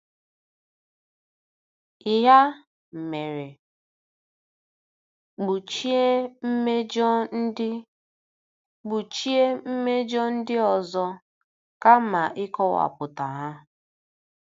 Ya mere, kpuchie mmejọ ndị kpuchie mmejọ ndị ọzọ kama ịkọwapụta ha.